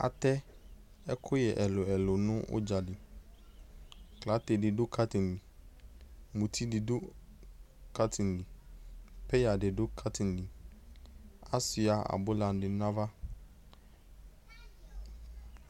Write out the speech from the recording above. Atɛ ɛkʋyɛ ɛlʋɛlʋ nʋ ʋdza li:aklǝte dɩ dʋ kaŋtin li, muti dɩ dʋ kaŋtin li, peyǝ bɩ dʋ kaŋtin li; asuɩa abʋlanɩ n'ava